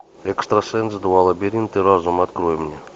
экстрасенс два лабиринты разума открой мне